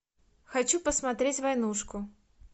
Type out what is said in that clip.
хочу посмотреть войнушку